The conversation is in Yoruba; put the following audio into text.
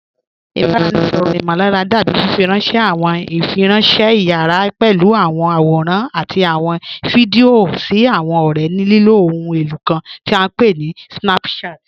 Ìbaráẹ̀nisọ̀rọ imọ̀lárà dábì fífírànṣẹ̀ àwọn ìfírànṣẹ̀ ìyàrá pẹ̀lú àwọn àwòrán àti àwọn fídíò sí àwọn ọ̀rẹ̀ ní lilo òhùn elo kàn tí à pé ní Snapchat.